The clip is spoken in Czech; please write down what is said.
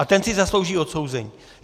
A ten si zaslouží odsouzení.